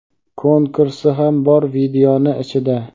Konkursi ham bor videoni ichida.